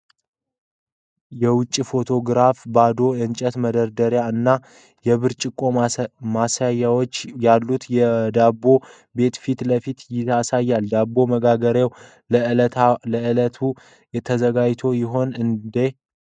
የውጭ ፎቶግራፍ ባዶ የእንጨት መደርደሪያዎች እና የብርጭቆ ማሳያዎች ያሉት የዳቦ ቤት ፊት ለፊት ያሳያል። ዳቦ መጋገሪያው ለዕለቱ ተዘግቶ ይሆን እንዳ ?